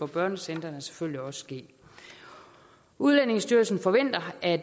børnecentrene selvfølgelig også ske udlændingestyrelsen forventer at